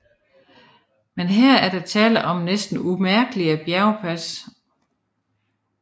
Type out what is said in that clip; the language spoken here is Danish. Men her er der tale om næsten umærkelige bjergpas